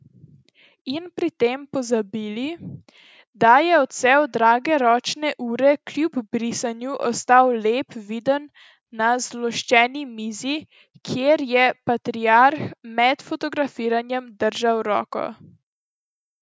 In pri tem pozabili, da je odsev drage ročne ure kljub brisanju ostal lepo viden na zloščeni mizi, kjer je patriarh med fotografiranjem držal roko ...